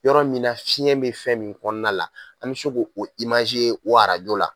Yɔrɔ min na fiɲɛ be fɛn min kɔɔna la an be se k'o o ye o la